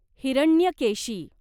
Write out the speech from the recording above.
Hiranyakeshi